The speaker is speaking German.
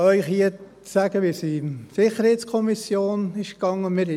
der SiK. Ich kann Ihnen hier sagen, wie es in der SiK vonstattengegangen ist.